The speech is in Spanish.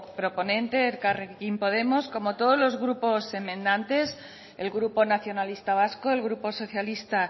proponente elkarrekin podemos como todos los grupos enmendantes el grupo nacionalista vasco el grupo socialista